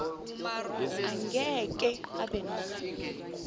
angeke abe nalo